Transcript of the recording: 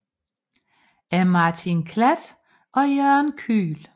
Af Martin Klatt og Jørgen Kühl